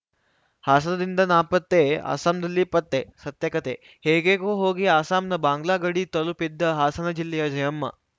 ಹಾಸನದಿಂದ ನಾಪತ್ತೆ ಅಸ್ಸಾಂನಲ್ಲಿ ಪತ್ತೆ ಸತ್ಯಕಥೆ ಹೇಗ್ಹೇಗೋ ಹೋಗಿ ಅಸ್ಸಾಂನ ಬಾಂಗ್ಲಾ ಗಡಿ ತಲುಪಿದ್ದ ಹಾಸನ ಜಿಲ್ಲೆಯ ಜಯಮ್ಮ